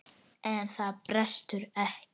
En það brestur ekki.